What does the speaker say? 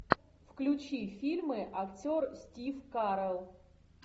включи фильмы актер стив карелл